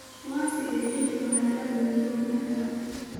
waa sidee jawiga magaalada nairobi hadda